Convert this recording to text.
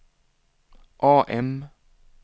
AM